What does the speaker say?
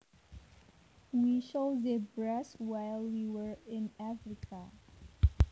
We saw zebras while we were in Africa